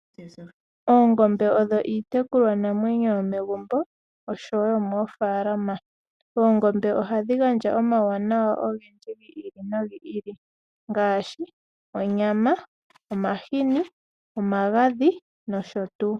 Oongombe odho iitekulwanamwenyo yomegumbo oshowo yo moofalama. Oongombe ohadhi gandja omawuwanawa ogendji gi ili nogi ili ngaasbi onyama, omahini, omagadhi nosho tuu.